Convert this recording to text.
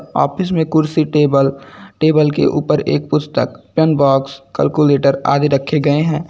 Office में कुर्सी table table के ऊपर एक पुस्तक पेन बॉक्स कैलकुलेटर आदि रखे गए हैं।